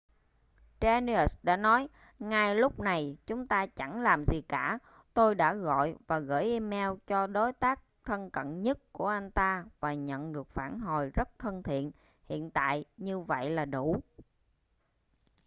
danius đã nói ngay lúc này chúng ta chẳng làm gì cả tôi đã gọi và gửi email cho đối tác thân cận nhất của anh ta và nhận được phản hồi rất thân thiện hiện tại như vậy là đủ